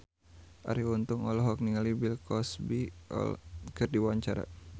Arie Untung olohok ningali Bill Cosby keur diwawancara